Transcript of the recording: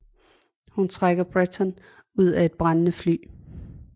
Hun trækker Bretton ud af et brændende fly